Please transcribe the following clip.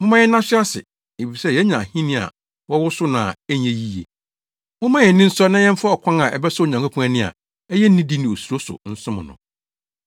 Momma yɛnna so ase, efisɛ yɛanya ahenni a wɔwosow no a ɛnyɛ yiye. Momma yɛn ani nsɔ na yɛmfa ɔkwan a ɛbɛsɔ Onyankopɔn ani a ɛyɛ nidi ne osuro so nsom no,